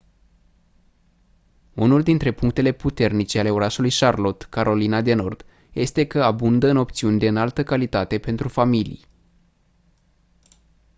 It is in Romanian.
unul dintre punctele puternice ale orașului charlotte carolina de nord este că abundă în opțiuni de înaltă calitate pentru familii